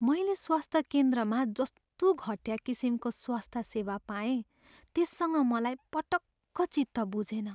मैले स्वस्थ केन्द्रमा जस्तो घटिया किसिमको स्वस्थ सेवा पाएँ त्यससँग मलाई पटक्क चित्त बुझेन।